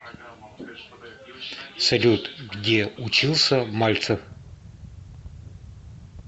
салют где учился мальцев